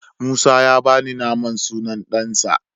Musa ya bani naman sunan ɗansa.